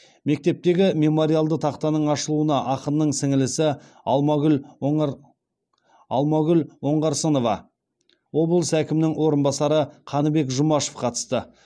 мектептегі мемориалды тақтаның ашылуына ақынның сіңлісі алмагүл оңғарсынова облыс әкімінің орынбасары қаныбек жұмашев қатысты